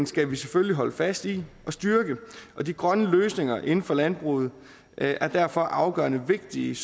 skal vi selvfølgelig holde fast i og styrke og de grønne løsninger inden for landbruget er derfor afgørende vigtige